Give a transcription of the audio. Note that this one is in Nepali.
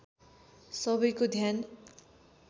सबैको ध्यान